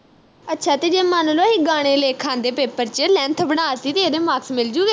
ਅੱਛਾ ਤੇ ਜੇ ਮੰਨ ਲੋ ਅਹੀ ਗਾਣੇ ਲਿਖ ਆਂਦੇ paper ਵਿਚ length ਬਣਾ ਤੀ ਇਹਦੇ marks ਮਿਲ ਜੂ ਗੇ